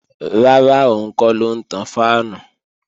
Rárá, òun kọ́ ló ń tan fáànù